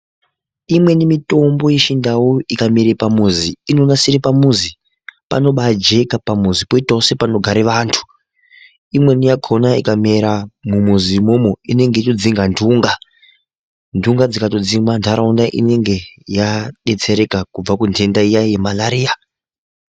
Imweni mitombo yechindau ikamera pamuzi inonasira pamuzi panobajeka pamuzi poitawo sepanogara antu. Iimweni yakona ikamera mumizi imwomwo inenge ichidzinga nhunga. Nhunga dzikatodzingwa ndaraunda inenge yadetsereka kubva kunhenda yemalaria.